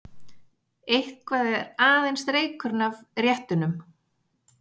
Eitthvað er aðeins reykurinn af réttunum